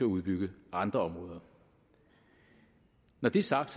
udbygge andre områder når det er sagt